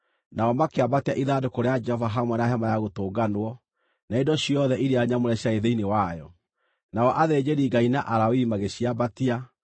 nao makĩambatia ithandũkũ rĩa Jehova hamwe na Hema-ya-Gũtũnganwo, na indo ciothe iria nyamũre ciarĩ thĩinĩ wayo. Nao athĩnjĩri-Ngai na Alawii magĩciambatia,